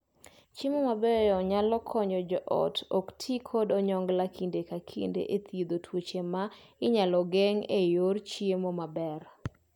Chiemo mabeyo nayalo konyo joot ok tii kod onyongla kinde ka kinde e thiedho tuoche ma inyal geng' e yor chiemo maber.